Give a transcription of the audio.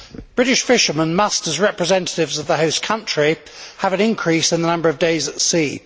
British fishermen, as representatives of the host country, must have an increase in the number of days at sea.